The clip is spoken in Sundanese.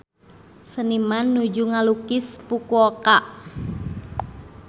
Seniman nuju ngalukis Fukuoka